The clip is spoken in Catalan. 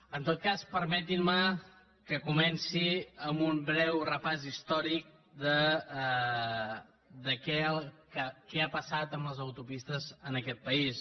en tot cas permetin me que comenci amb un breu repàs històric de què ha passat amb les autopistes en aquest país